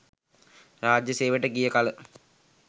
රාජ්‍යය සේවයට ගිය කල